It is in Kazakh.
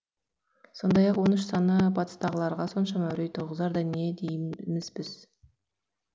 сондай ақ он үш саны батыстағыларға соншама үрей туғызардай не дейміз біз